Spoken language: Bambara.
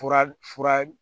Fura fura